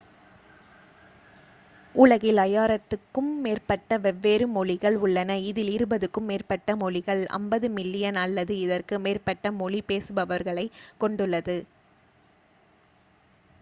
உலகில் 5,000-க்கும் மேற்பட்ட வெவ்வேறு மொழிகள் உள்ளன இதில் இருபதுக்கும் மேற்பட்ட மொழிகள் 50 மில்லியன் அல்லது அதற்கு மேற்பட்ட மொழி பேசுபவர்களைக் கொண்டுள்ளது